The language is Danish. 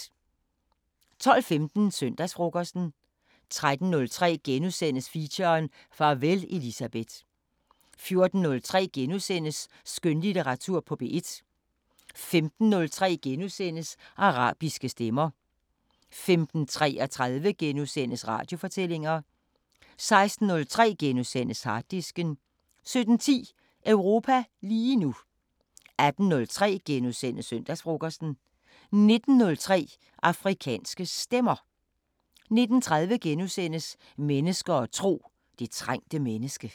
12:15: Søndagsfrokosten 13:03: Feature: Farvel Elisabeth * 14:03: Skønlitteratur på P1 * 15:03: Arabiske Stemmer * 15:33: Radiofortællinger * 16:03: Harddisken * 17:10: Europa lige nu 18:03: Søndagsfrokosten * 19:03: Afrikanske Stemmer 19:30: Mennesker og tro: Det trængte menneske *